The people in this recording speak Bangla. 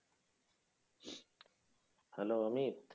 Hello অমিত?